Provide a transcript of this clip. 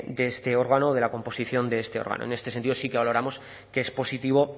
de este órgano o de la composición de este órgano en este sentido sí que valoramos que es positivo